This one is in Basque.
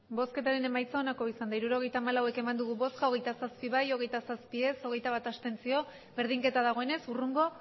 hirurogeita hamalau eman dugu bozka hogeita zazpi bai hogeita zazpi ez hogeita bat abstentzio berdinketa dagoenez hurrengo